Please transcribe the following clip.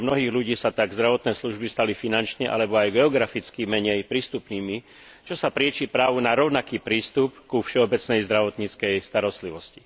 Pre mnohých ľudí sa tak zdravotné služby stali finančne alebo aj geograficky menej prístupnými, čo sa prieči právu na rovnaký prístup ku všeobecnej zdravotníckej starostlivosti.